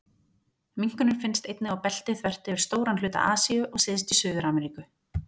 Minkurinn finnst einnig á belti þvert yfir stóran hluta Asíu og syðst í Suður-Ameríku.